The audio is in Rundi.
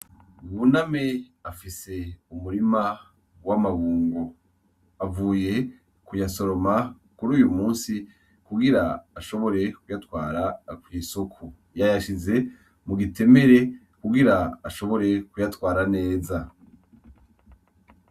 Buname afise umurima w’amabungo. Avuye kuyasoroma kuruyu musi kugira ashobora kuyatwara kw’isoko. Yayashize mugitemere kugira ashobore kuyatwara neza.